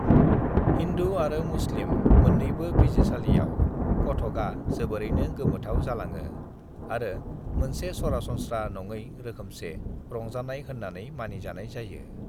"हिन्दु आरो मुस्लिम मोननैबो बिजिरसालियाव, कथकआ जोबोरैनो गोमोथाव जालाङो आरो मोनसे सरासनस्रा नंङै रोखोमसे रंजानाय होननानै मानि जानाय जायो।"